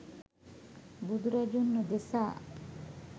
බුදුරජුන් උදෙසා